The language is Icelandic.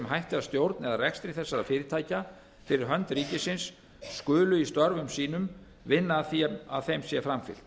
hætti að stjórn eða rekstri þessara fyrirtækja fyrir hönd ríkisins skulu í störfum sínum vinna að því að þeim sé framfylgt